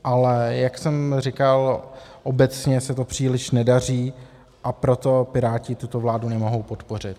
Ale jak jsem říkal, obecně se to příliš nedaří, a proto Piráti tuto vládu nemohou podpořit.